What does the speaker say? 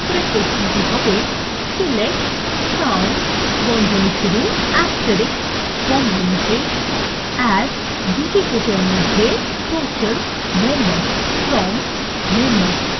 select count * as total members